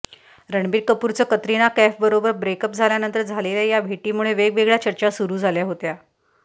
रणबीर कपूरचं कतरिना कैफबरोबर break up झाल्यानंतर झालेल्या या भेटीमुळे वेगवेगळ्या चर्चा सुरु झाल्या होत्या